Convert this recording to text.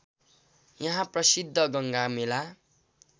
यहाँ प्रसिद्ध गङ्गा मेला